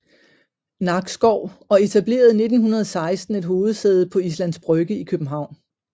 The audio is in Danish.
Nakskov og etablerede 1916 et hovedsæde på Islands Brygge i København